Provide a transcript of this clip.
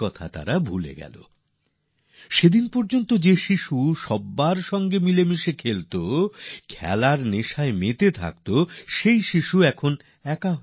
যে শিশুরা কাল পর্যন্ত সবার সঙ্গে খেলত সবার সঙ্গে থাকত মিলেমিশে যেত খেলায় ডুবে থাকত তারা এখন দূরে দূরে থাকে